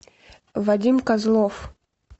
вадим козлов